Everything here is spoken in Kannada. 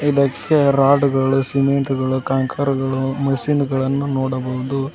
ಇದಕ್ಕೆ ರಾಡ್ ಗಳು ಸಿಮೆಂಟ್ ಗಳು ಕಾಂಕರಗಳು ಮಷೀನ್ ಗಳನ್ನು ನೋಡಬಹುದು.